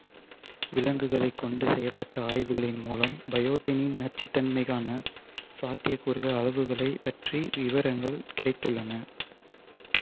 விலங்குகளைக் கொண்டு செய்யப்பட்ட ஆய்வுகளின் மூலம் பயோட்டினின் நச்சுத்தன்மைக்கான சாத்தியக்கூறுள்ள அளவுகளைப் பற்றிய விவரங்கள் கிடைத்துள்ளன